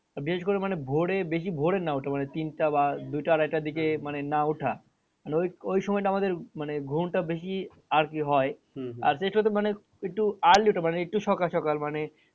বিশেষ করে মানে ভোরে বেশি ভোরে না ওঠা মানে তিনটা বা দুইটা আড়াইটার দিকে মানে না ওঠা মানে ওই ওই সময়টা আমাদের মানে ঘুমটা বেশি আরকি হয় মানে একটু early ওঠা মানে একটু সকাল সকাল মানে